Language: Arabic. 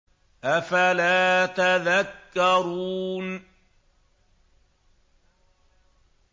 أَفَلَا تَذَكَّرُونَ